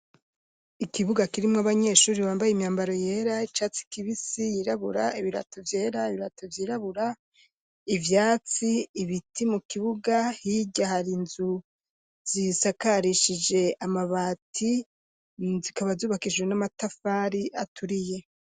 Ikibuga kirimwo abanyeshuri bambaye imyambaro yera, icatsi kibisi, yirabura ,ibirato vyera, ibirato vyirabura,, ivyatsi ,ibiti mu kibuga hirya hari inzu zisakarishije amabati, zikaba zubakishije n'amatafari aturiye.